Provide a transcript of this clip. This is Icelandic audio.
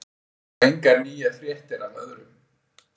Það eru engar nýjar fréttir af öðrum.